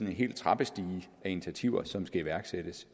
hel trappestige af initiativer som skal iværksættes